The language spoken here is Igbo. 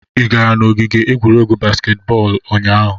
Ị gara n'ogige egwuregwu baskeet bọọlụ ụnyaahụ?